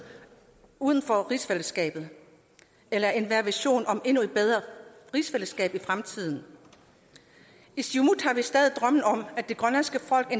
uden for rigsfællesskabet eller enhver vision om et endnu bedre rigsfællesskab i fremtiden i siumut har vi stadig drømmen om at det grønlandske folk